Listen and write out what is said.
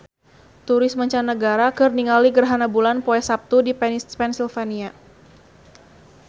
Turis mancanagara keur ningali gerhana bulan poe Saptu di Pennsylvania